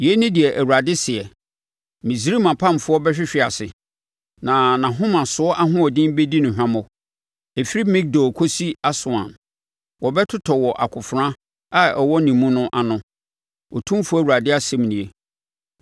“ ‘Yei ne deɛ Awurade seɛ: “ ‘Misraim apamfoɔ bɛhwehwe ase na nʼahomasoɔ ahoɔden bɛdi no hwammɔ. Ɛfiri Migdol kɔsi Aswan wɔbɛtotɔ wɔ akofena a ɛwɔ ne mu no ano, Otumfoɔ Awurade asɛm nie.